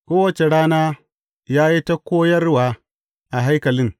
Kowace rana, ya yi ta koyarwa a haikalin.